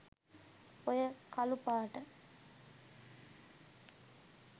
ඔය කලුපාට